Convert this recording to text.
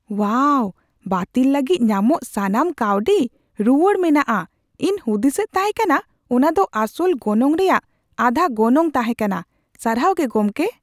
ᱳᱣᱟᱣ ! ᱵᱟᱹᱛᱤᱞ ᱞᱟᱹᱜᱤᱫ ᱧᱟᱢᱚᱜ ᱥᱟᱱᱟᱢ ᱠᱟᱹᱣᱰᱤ ᱨᱩᱣᱟᱹᱲ ᱢᱮᱱᱟᱜᱼᱟ, ᱤᱧ ᱦᱩᱫᱤᱥᱮᱫ ᱛᱟᱦᱮ ᱠᱟᱱᱟ ᱚᱱᱟ ᱫᱚ ᱟᱥᱚᱞ ᱜᱚᱱᱚᱝ ᱨᱮᱭᱟᱜ ᱟᱫᱷᱟ ᱜᱚᱱᱚᱝ ᱛᱟᱦᱮᱸ ᱠᱟᱱᱟ, ᱥᱟᱨᱦᱟᱣ ᱜᱮ ᱜᱚᱢᱠᱮ ᱾